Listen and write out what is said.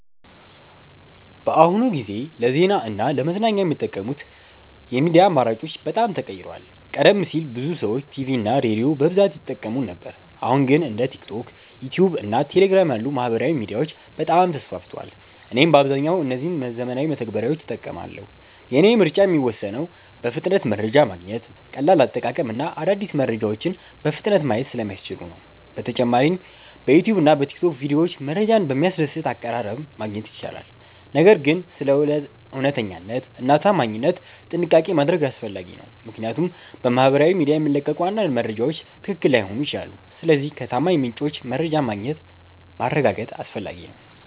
በአሁኑ ጊዜ ለዜና እና ለመዝናኛ የሚጠቀሙት የሚዲያ አማራጮች በጣም ተቀይረዋል። ቀደም ሲል ብዙ ሰዎች ቲቪ እና ሬዲዮን በብዛት ይጠቀሙ ነበር አሁን ግን እንደ ቲክቶክ፣ ዩትዩብ እና ቴሌግራም ያሉ ማህበራዊ ሚዲያዎች በጣም ተስፋፍተዋል። እኔም በአብዛኛው እነዚህን ዘመናዊ መተግበሪያዎች እጠቀማለሁ። የእኔ ምርጫ የሚወሰነው በፍጥነት መረጃ ማግኘት፣ ቀላል አጠቃቀም እና አዳዲስ መረጃዎችን በፍጥነት ማየት ስለሚያስችሉ ነው። በተጨማሪም በዩትዩብ እና በቲክቶክ ቪዲዮዎች መረጃን በሚያስደስት አቀራረብ ማግኘት ይቻላል። ነገር ግን ስለ እውነተኛነት እና ታማኝነት ጥንቃቄ ማድረግ አስፈላጊ ነው፣ ምክንያቱም በማህበራዊ ሚዲያ የሚለቀቁ አንዳንድ መረጃዎች ትክክል ላይሆኑ ይችላሉ። ስለዚህ ከታማኝ ምንጮች መረጃን ማረጋገጥ አስፈላጊ ነው።